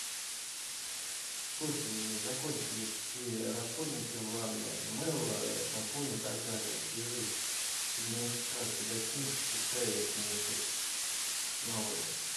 слушай закончились все расходники в ванной мыло шампунь и так далее свяжись с администрацией гостиницы пускай принесут новые